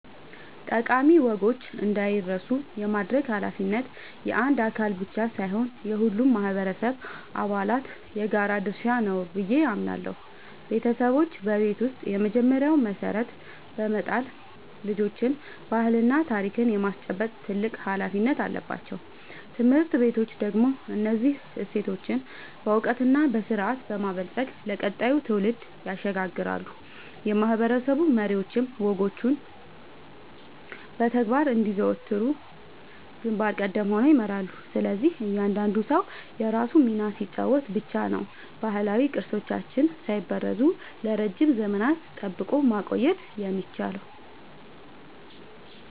ጠቃሚ ወጎች እንዳይረሱ የማድረግ ኃላፊነት የአንድ አካል ብቻ ሳይሆን የሁሉም ማህበረሰብ አባላት የጋራ ድርሻ ነው ብዬ አምናለሁ። ቤተሰቦች በቤት ውስጥ የመጀመሪያውን መሰረት በመጣል ልጆችን ባህልና ታሪክ የማስጨበጥ ትልቅ ኃላፊነት አለባቸው። ትምህርት ቤቶች ደግሞ እነዚህን እሴቶች በዕውቀትና በስርዓት በማበልጸግ ለቀጣዩ ትውልድ ያሸጋግራሉ፤ የማህበረሰብ መሪዎችም ወጎቹ በተግባር እንዲዘወተሩ ግንባር ቀደም ሆነው ይመራሉ። ስለዚህ እያንዳንዱ ሰው የራሱን ሚና ሲጫወት ብቻ ነው ባህላዊ ቅርሶቻችንን ሳይበረዙ ለረጅም ዘመናት ጠብቆ ማቆየት የሚቻለው።